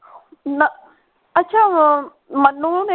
ਨਾ ਅੱਛਾ ਉਹ ਮਨੁ ਨੇ